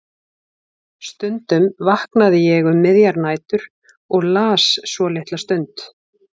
Stundum vaknaði ég um miðjar nætur og las svo litla stund.